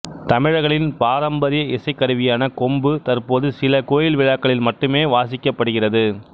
தமிழர்களின் பாரம்பரிய இசைக்கருவியான கொம்பு தற்போது சில கோயில் விழாக்களில் மட்டுமே வாசிக்கப்படுகிறது